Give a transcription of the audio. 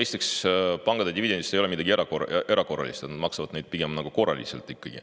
Esiteks, pankade dividendis ei ole midagi erakorralist, nad maksavad seda pigem nagu korraliselt.